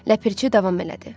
Ləpirçi davam elədi.